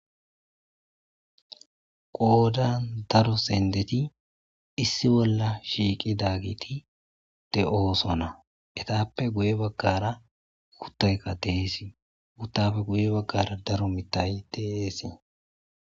Qoodan daro sendeti issi bolla shiiqi dagiti de7ooso na etappe guye baggara kuttayka deesii guttapfe guye baggara daro mittay deesee.